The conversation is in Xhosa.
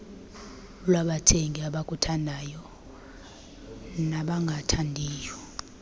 kwabathengi abakuthandayo nabangakuthandiyo